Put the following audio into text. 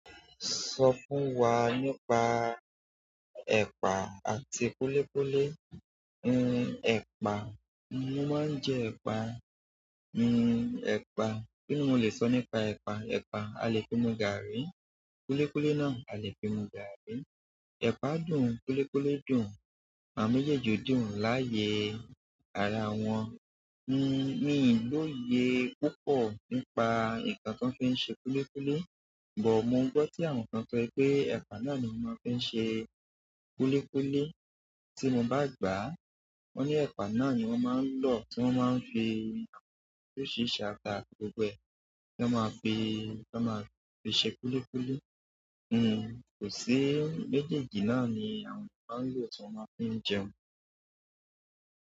Sọ fún wa nípa ẹ̀pà àti kúlíkúlí. En epa mo ma nje epa. Hmm ẹ̀pà, kí ni mo lè sọ nípa ẹ̀pà? Ẹ̀pà, a lè fi mu gààrí, kúlíkúlí náà a lè fi mu gààrí. Ẹ̀pà dùn, kúlíkúlí dùn, àwọn mejẹẹji dùn láyé ara wọn. Hmm mí lò yẹ púpọ̀ nípa nǹkan tó fi ń ṣe kúlíkúlí, ṣùgbọ́n mo gbọ́ tí àwọn kan sọ pé ẹ̀pà náà ni wọ́n fi ń ṣe kúlíkúlí. Tí mo bá gbàá, wọ́n ní ẹ̀pà náà ni wọ́n máa ń lò, tí wọ́n máa ń fi, oríṣiríṣi áàtà gbogbo e náà máa fi ṣe kúlíkúlí. Hmm kò sí, méjèèjì náà ni àwọn kan ń lò tí wọ́n ma fi ń jẹun.